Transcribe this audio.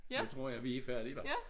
Så tror jeg vi færdige hvad